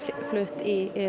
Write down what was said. flutt í